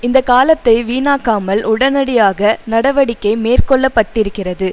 இந்த காலத்தை வீணாக்காமல் உடனடியாக நடவடிக்கை மேற்கொள்ள பட்டிருக்கிறது